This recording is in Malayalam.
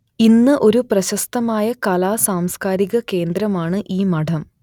ഇന്ന് ഒരു പ്രശസ്തമായ കലാ സാംസ്കാരിക കേന്ദ്രമാണ് ഈ മഠം